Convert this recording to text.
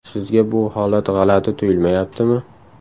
Sizga bu holat g‘alati tuyulmayaptimi?..